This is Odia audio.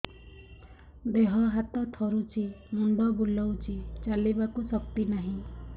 ଦେହ ହାତ ଥରୁଛି ମୁଣ୍ଡ ବୁଲଉଛି ଚାଲିବାକୁ ଶକ୍ତି ନାହିଁ